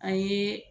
An ye